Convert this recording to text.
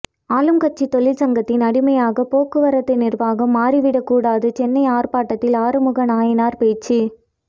ஆளும்கட்சி தொழிற்சங்கத்தின் அடிமையாக போக்குவரத்து நிர்வாகம் மாறிவிடக் கூடாது சென்னை ஆர்ப்பாட்டத்தில் ஆறுமுக நயினார் பேச்சு